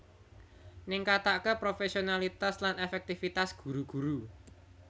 ningkataké profésionalitas lan èfèktifitas guru guru